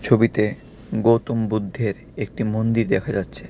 ছবিতে গৌতম বুদ্ধের একটি মন্দির দেখা যাচ্ছে.